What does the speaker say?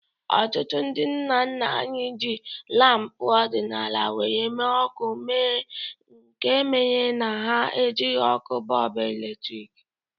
Ọtụtụ ndị nna nna anyị jiri lampu ọdịnala were mee ọkụ nke mere na ha ejighi ọkụ bọlbụ eletrik